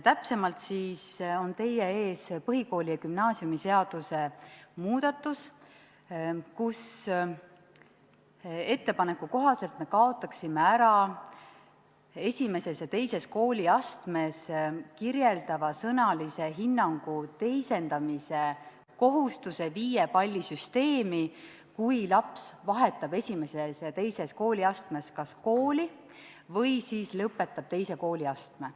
Täpsemalt on teie ees põhikooli- ja gümnaasiumiseaduse muudatus, kus tehtud ettepaneku kohaselt me kaotaksime ära I ja II kooliastmes kirjeldava sõnalise hinnangu viiepallisüsteemi teisendamise kohustuse, kui laps kas vahetab I ja II kooliastmes kooli või lõpetab II kooliastme.